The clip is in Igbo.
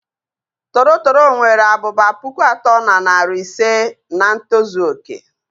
Toro toro nwere abụba pụkụ atọ na narị ise nà ntozu oké.